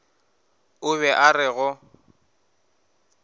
o be a re go